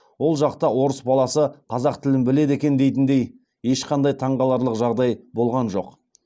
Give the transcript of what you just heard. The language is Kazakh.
ол жақта орыс баласы қазақ тілін біледі екен дейтіндей ешқандай таңғаларлық жағдай болған жоқ